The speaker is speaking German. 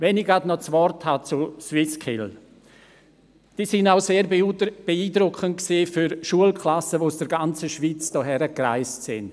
Wenn ich schon etwas zu den SwissSkills sage: Sie waren auch für Schulklassen sehr beeindruckend, die aus der ganzen Schweiz angereist waren.